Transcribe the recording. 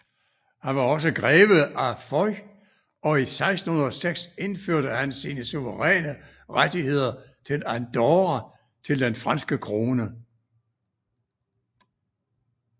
Han var også greve af Foix og i 1606 overførte han sine suveræne rettigheder til Andorra til den franske krone